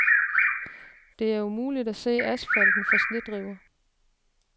Det er umuligt at se asfalten for snedriver.